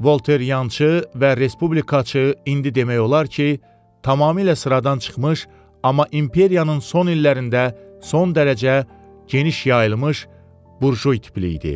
Volter Yançı və respublikaçı indi demək olar ki, tamamilə sıradan çıxmış, amma imperiyanın son illərində son dərəcə geniş yayılmış burjui tipli idi.